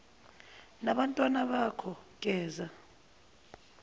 nabantwana bakho geza